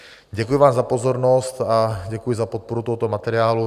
Děkuji vám za pozornost a děkuji za podporu tohoto materiálu.